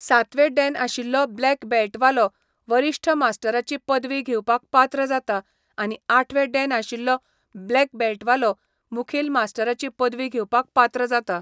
सातवें डॅन आशिल्लो ब्लॅक बॅल्टवालो वरिश्ठ मास्टराची पदवी घेवपाक पात्र जाता आनी आठवें डॅन आशिल्लो ब्लॅक बॅल्टवालो, मुखेल मास्टराची पदवी घेवपाक पात्र जाता.